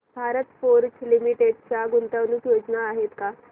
Bharat Forge limited च्या गुंतवणूक योजना आहेत का